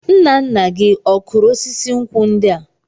Nna nna gị ọ kụrụ osisi nkwụ ndi a?